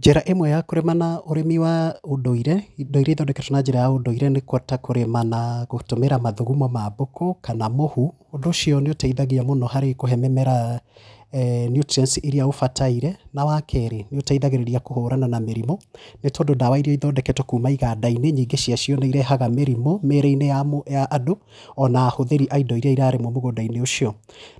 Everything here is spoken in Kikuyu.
Njĩra ĩmwe ya kũrima na ũrĩmi wa ũndũire, indo iria ithondeketwo na njĩra ya ũndũire, nĩ ta kũrĩma na, gũtũmĩra mathugumo ma mbũku, kana mũhu. Ũndũ ũcio nĩ ũteithagia mũno harĩ kũhe mĩmera nutrients iria ũbataire, na wa keri, nĩ ĩteithagiriria kũhũrana na mĩrimũ, nĩ tondũ ndawa iria ithondeketwo kuuma iganda-inĩ, nyingĩ cia cio nĩ irehaga mĩrimũ, mĩrĩ-inĩ ya mũndũ, ya andũ, ona ahũthĩri a indo iria irarĩmwo mũgũnda-inĩ ũcio.